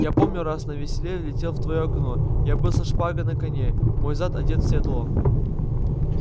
я помню раз на веселе влетел в твоё окно я был со шпагой на коне мой зад одет в седло